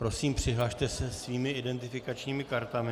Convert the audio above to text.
Prosím, přihlaste se svými identifikačními kartami.